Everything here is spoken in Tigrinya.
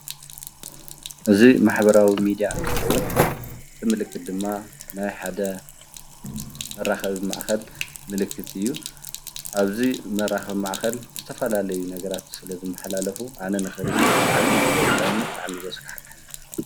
እዚ ማሕበራዊ ሚድያ እንትኸውን እዚ ምልክት ድማ ናይ ሓደ መራኸቢ ማእኸል ምልክት እዩ፡፡ ኣብዚ መራኸቢ ማእኸል ዝተፈላለዩ ነገራት ስለዝመሓላለፉ ኣነ ንኽሪኢ ብጣዕሚ እዩ ዘፅልአኒ ብጣዕሚ እዩ ዘስካሕከሐኒ።